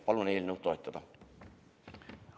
Palun eelnõu toetada!